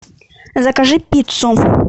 закажи пиццу